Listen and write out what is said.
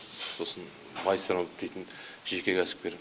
сосын байсырынов дейтін жеке кәсіпкер